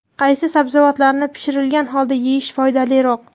Qaysi sabzavotlarni pishirilgan holda yeyish foydaliroq?.